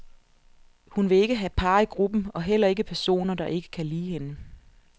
Hun vil ikke have par i gruppen, og heller ikke personer, der ikke kan lide hende.